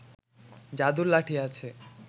যাদুর লাঠি আছে